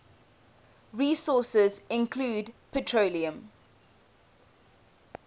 resources include petroleum